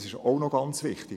Das ist auch ganz wichtig.